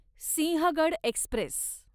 Sinhagad Express